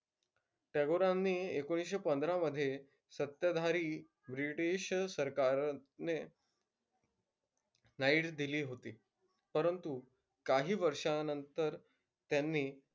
टागोरांनी एकोणीसशे पंधरामध्ये सत्ताधारी ब्रिटिश सरकारने night दिली होती. परंतु काही वर्षानंतर त्यांनी,